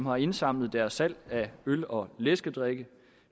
har indsamlet deres salg af øl og læskedrikke